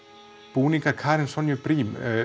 búningar Karenar Sonju Briem